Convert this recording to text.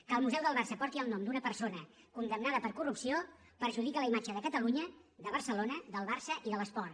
que el museu del barça porti el nom d’una persona condemnada per corrupció perjudica la imatge de catalunya de barcelona del barça i de l’esport